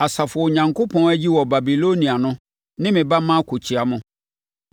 Asafo a Onyankopɔn ayi wɔ Babilonia no ne me ba Marko kyea mo.